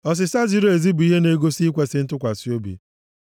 Ọsịsa ziri ezi bụ ihe na-egosi ikwesi ntụkwasị obi. + 24:26 Dịka nsusu e susuru nʼegbugbere ọnụ